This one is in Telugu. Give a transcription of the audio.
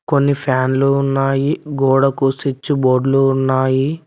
కొన్ని ఫ్యాన్లు ఉన్నాయి గోడ కు స్విచ్ బోర్డులు ఉన్నాయి.